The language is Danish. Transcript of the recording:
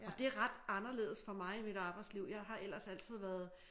Og det ret anderledes for mig i mit arbejdsliv jeg har ellers altid været